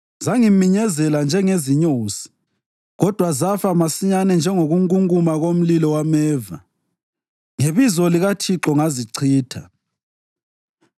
Zangiminyezela njengezinyosi kodwa zafa masinyane njengokungunguma komlilo wameva; ngebizo likaThixo ngazichitha.